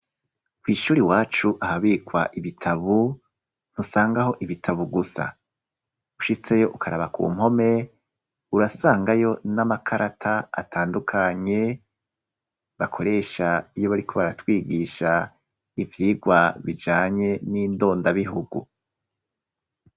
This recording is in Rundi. Kw'ishuri wacu ahabikwa ibitabo, ntusangaho ibitabo gusa ushitseyo ukaraba ku mpome urasangayo n'amakarata atandukanye bakoresha iyo bariko baratwigisha ivyigwa bijanye n'indondabihugu.